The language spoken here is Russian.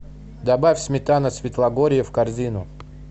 добавь сметана свитлогорье в корзину